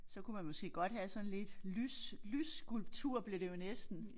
Så kunne man måske godt have sådan lidt lys lysskulptur bliver det jo næsten